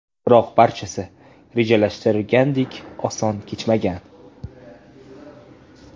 Biroq barchasi rejalashtirilganidek oson kechmagan.